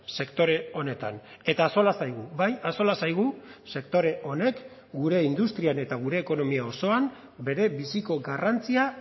sektore honetan eta axola zaigu bai axola zaigu sektore honek gure industrian eta gure ekonomia osoan berebiziko garrantzia